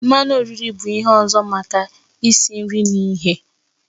Mmanụ oriri bụ ihe ọzọ maka isi nri na ighe.